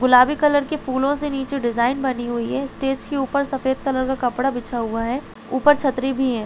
गुलाबी कलर के फूलो से नीचे डिज़ाइन बनी हुई है स्टेज के ऊपर सफ़ेद कलर का कपडा बिछा हुआ है ऊपर छतरी भी है।